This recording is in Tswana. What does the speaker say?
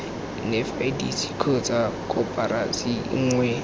nef idc kgotsa koporasi nngwe